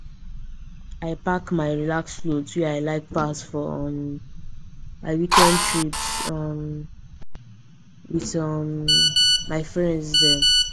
i pack my relax cloth wey i like pass for um my weekend trips um with um my friends dem